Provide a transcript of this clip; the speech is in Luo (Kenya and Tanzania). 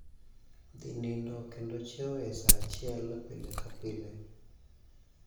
Dhi nindo kendo chiewo e saa achiel pile ka pile.